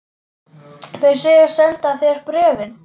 Þeir segjast senda þér bréfin.